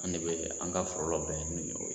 An de bɛ ɲininka an ka forolabɛn